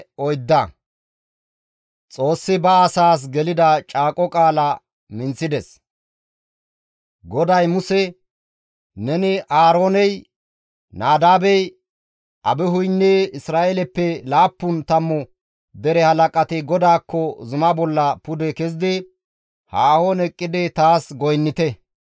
GODAY Muse, «Neni, Aarooney, Nadaabey, Abihuynne Isra7eeleppe laappun tammu dere halaqati GODAAKKO zuma bolla pude kezidi haahon eqqidi taas goynnite.